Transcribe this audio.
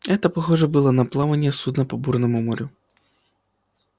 это похоже было на плавание судна по бурному морю